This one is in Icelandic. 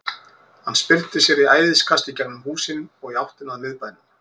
Hann spyrnti sér í æðiskasti í gegnum húsin og í áttina að miðbænum.